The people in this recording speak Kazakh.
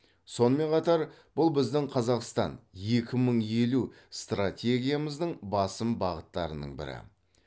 сонымен қатар бұл біздің қазақстан екі мың елу стратегиямыздың басым бағыттарының бірі